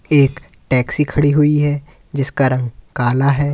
एक टैक्सी खड़ी हुई है जिसका रंग काला है।